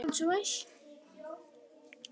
Dagmann, bókaðu hring í golf á föstudaginn.